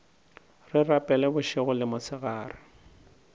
re rapela bošego le mosegare